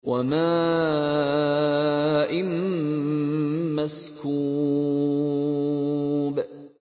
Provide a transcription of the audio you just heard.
وَمَاءٍ مَّسْكُوبٍ